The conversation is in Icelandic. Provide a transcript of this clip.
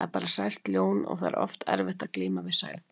Þetta er bara sært ljón og það er oft erfitt að glíma við særð dýr.